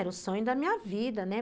Era o sonho da minha vida, né?